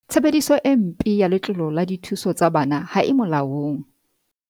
Tshebediso e mpe ya letlole la dithuso tsa bana ha e molaong